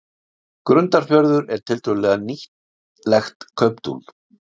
Grundarfjörður er tiltölulega nýlegt kauptún.